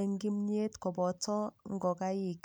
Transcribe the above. eng' kimyet ak ngokaik